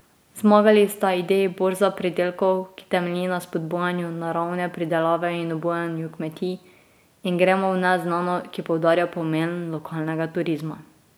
Zmagali sta ideji Borza pridelkov, ki temelji na spodbujanju naravne pridelave in obujanju kmetij, in Gremo v neznano, ki poudarja pomen lokalnega turizma.